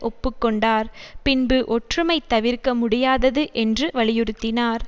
ஒப்பு கொண்டார் பின்பு ஒற்றுமை தவிர்க்க முடியாதது என்று வலியுறுத்தினார்